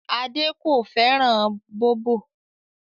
Ade kò fẹ́ràn bóbò